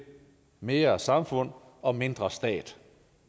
mere samfund og mindre stat